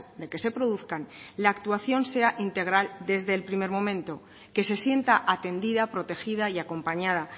de que se produzcan la actuación sea integral desde el primer momento que se sienta atendida protegida y acompañada